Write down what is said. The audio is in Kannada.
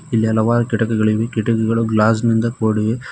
ಇಲ್ಲಿ ಹಲವಾರು ಕಿಟಕಿಗಳಿವೆ ಕಿಟಕಿಗಳು ಗ್ಲಾಸ್ ನಿಂದ ಕೂಡಿವೆ.